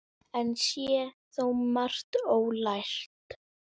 Enn sé þó margt ólært.